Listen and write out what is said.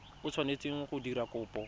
o tshwanetseng go dira kopo